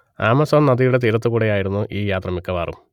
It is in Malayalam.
ആമസോൺ നദിയുടെ തീരത്തുകൂടെ ആയിരുന്നു ഈ യാത്ര മിക്കവാറും